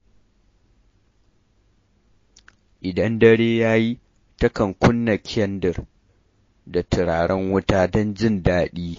Idan dare ya yi, takan kunna kyandir da turaren wuta don jin daɗi.